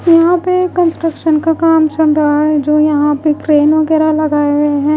यहां पे कंस्ट्रक्शन का काम चल रहा है जो यहां पे क्रेन वगैरा लगाए हुए हैं।